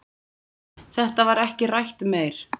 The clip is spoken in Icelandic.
Þetta var ekki rætt meir.